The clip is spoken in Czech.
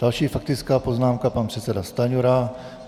Další faktická poznámka pan předseda Stanjura.